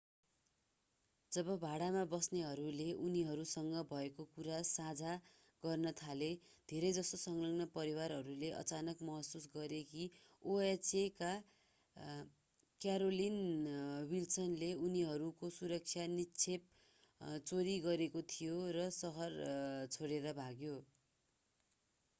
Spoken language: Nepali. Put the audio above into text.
जब भाडामा बस्नेहरूले उनीहरूसँग भएको कुरा साझा गर्न थाले धेरैजसो संलग्न परिवारहरूले अचानक महसुस गरे कि oha का क्यारोलिन विल्सनले उनीहरूको सुरक्षा निक्षेप चोरी गरेको थियो र शहर छोडेर भाग्यो